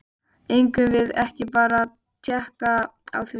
Eigum við ekki bara að tékka á því?